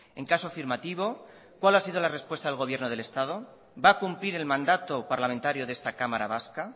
en caso afirmativo cuál ha sido la respuesta del gobierno del estado va a cumplir el mandato parlamentario de esta cámara vasca